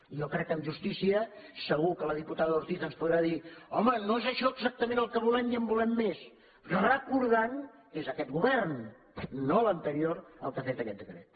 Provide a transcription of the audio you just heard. jo crec que en justícia segur que la diputada ortiz ens podrà dir home no és això exactament el que volem i en volem més recordant que és aquest govern no l’anterior el que ha fet aquest decret